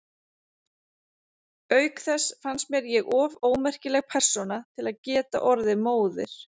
Auk þess fannst mér ég of ómerkileg persóna til að geta orðið móðir.